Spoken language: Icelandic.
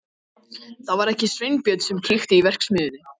Það var ekki Sveinbjörn sem kveikti í verksmiðjunni.